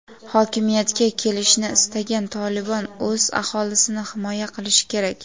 hokimiyatga kelishni istagan "Tolibon" o‘z aholisini himoya qilishi kerak.